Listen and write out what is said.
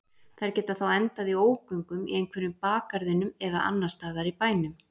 Þær geta þá endað í ógöngum í einhverjum bakgarðinum eða annars staðar í bænum.